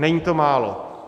Není to málo.